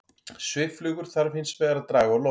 Svifflugur þarf hins vegar að draga á loft.